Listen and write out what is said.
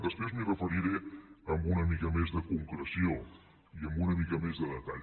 després m’hi referiré amb una mica més de concreció i amb una mica més de detall